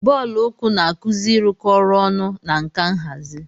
Bọọlụ uku na-akuzi ịrụkọ ọrụ ọnụ na nka nhazi.